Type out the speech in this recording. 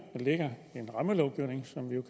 vedrører